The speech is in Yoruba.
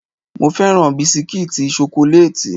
Mo féràn bisikítì ṣokolátì.